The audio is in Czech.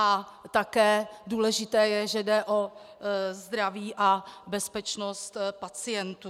A také důležité je, že jde o zdraví a bezpečnost pacientů.